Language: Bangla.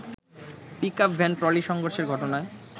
পিকআপভ্যান-ট্রলি সংঘর্ষের ঘটনায়